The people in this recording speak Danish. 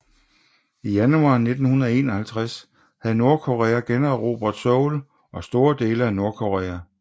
I januar 1951 havde Nordkorea generobret Seoul og store dele af Nordkorea